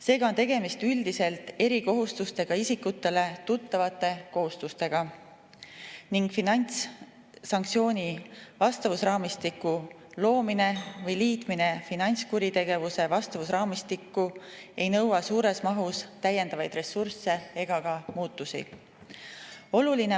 Seega on tegemist erikohustustega isikutele üldiselt tuttavate kohustustega ning finantssanktsiooni vastavusraamistiku loomine või liitmine finantskuritegevuse vastavusraamistikku ei nõua suures mahus täiendavaid ressursse ega ka muutusi.